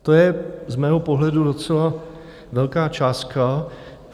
To je z mého pohledu docela velká částka.